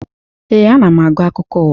Ee, ana m agụ akụkọ ụwa.